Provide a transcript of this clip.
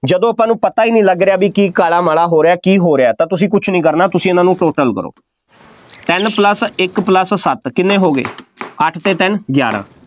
ਜਦੋਂ ਸਾਨੂੰ ਨੂੰ ਪਤਾ ਹੀ ਨਹੀਂ ਲੱਗ ਰਿਹਾ ਬਈ ਕੀ ਘਾਲਾ ਮਾਲਾ ਹੋ ਰਿਹਾ, ਕੀ ਹੋ ਰਿਹਾ ਤਾਂ ਤੁਸੀਂ ਕੁੱਝ ਨਹੀਂ ਕਰਨਾ, ਤੁਸੀਂ ਇਹਨਾ ਨੂੰ total ਕਰੋ, ਤਿੰਨ plus ਇੱਕ plus ਸੱਤ, ਕਿੰਨੇ ਹੋ ਗਏ, ਅੱਠ ਅਤੇ ਤਿੰਨ ਗਿਆਰਾਂ,